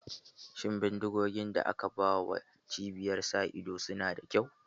Shin bindigogi da aka ba wa ƴan cibiyar sa ido su na da kyau?